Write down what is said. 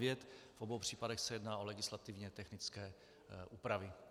V obou případech se jedná o legislativně technické úpravy.